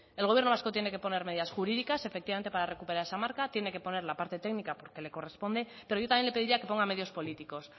el gobierno vasco tiene que poner medidas jurídicas efectivamente para recuperar esa marca tiene que poner la parte técnica porque le corresponde pero yo también le pediría que ponga medios políticos